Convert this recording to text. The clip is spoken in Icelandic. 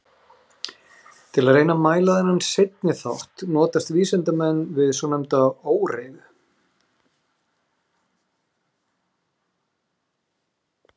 Til að reyna að mæla þennan seinni þátt notast vísindamenn við svonefnda óreiðu.